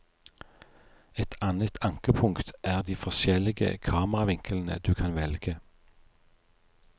Et annet ankepunkt er de forskjellige kameravinklene du kan velge.